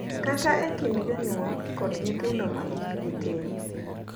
Kata e kind jonyuol kod nyithindo ma hikgi tin.